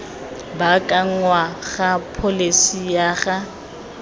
baakangwa ga pholesi ya ga